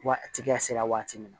Waati tigiya sera waati min na